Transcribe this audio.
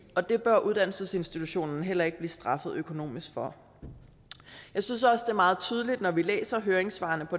og det bør uddannelsesinstitutionen heller ikke blive straffet økonomisk for jeg synes også det er meget tydeligt når vi læser høringssvarene